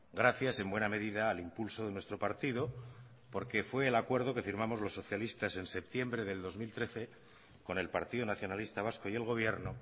gracias en buena medida al impulso de nuestro partido porque fue el acuerdo que firmamos los socialistas en septiembre del dos mil trece con el partido nacionalista vasco y el gobierno